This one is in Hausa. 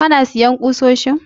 Kana sayan ƙusoshin?